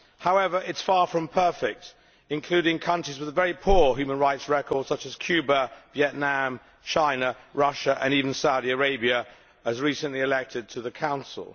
However, it is far from perfect, as it includes countries with a very poor human rights record such as Cuba, Vietnam, China, Russia and even Saudi Arabia, which has recently been elected to the Council.